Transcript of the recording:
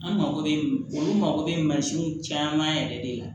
An mako bɛ olu mago bɛ mansinw caman yɛrɛ de la